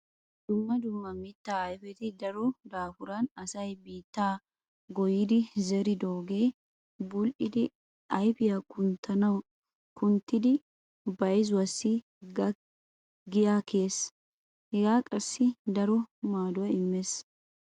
Dumma dumma mittaa ayfeti daro daafuran asay biittaa goyyidi zeridoogee bul"ettidi ayfiya kunttidi bayzuwassi giyaa kiyees. Hagee qassi daro maaduwa immees.